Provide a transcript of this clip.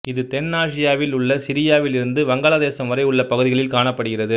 இது தென்னாசியாவில் உள்ள சிரியாவில் இருந்து வங்காளதேசம் வரை உள்ள பகுதிகளில் காணப்படுகிறது